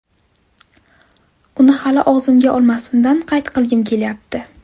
Uni hali og‘zimga olmasimdan qayt qilgim kelyapti.